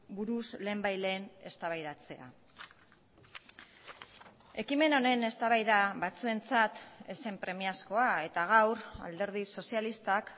buruz lehenbailehen eztabaidatzea ekimen honen eztabaida batzuentzat ez zen premiazkoa eta gaur alderdi sozialistak